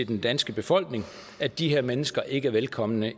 den danske befolkning at de her mennesker ikke er velkomne